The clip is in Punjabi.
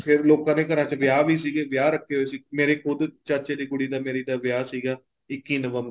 ਫ਼ੇਰ ਲੋਕਾਂ ਨੇ ਘਰਾਂ ਦੇ ਵਿੱਚ ਵਿਆਹ ਵੀ ਸੀਗੇ ਵਿਆਹ ਰੱਖ਼ੇ ਹੋਏ ਸੀ ਮੇਰੇ ਖੁੱਦ ਚਾਚੇ ਦੀ ਕੁੜੀ ਦਾ ਵਿਆਹ ਸੀਗਾ ਇੱਕੀ ਨਵੰਬਰ